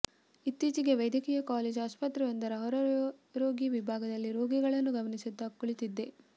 ಇತ್ತೀಚೆಗೆ ವೈದ್ಯಕೀಯ ಕಾಲೇಜ್ ಆಸ್ಪತ್ರೆಯೊಂದರ ಹೊರರೋಗಿ ವಿಭಾಗದಲ್ಲಿ ರೋಗಿಗಳನ್ನು ಗಮನಿಸುತ್ತಾ ಕುಳಿತಿದ್ದೆ